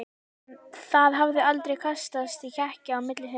Það hafði aldrei kastast í kekki á milli þeirra.